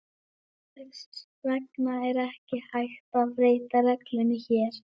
Þess vegna er ekki hægt að beita reglunni hér.